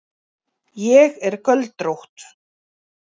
Ég er göldrótt.